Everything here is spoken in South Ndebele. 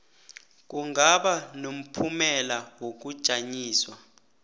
kungaba nomphumela wokujanyiswa